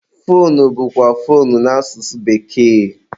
foonu bụkwa foonu n'asụsụ bekee.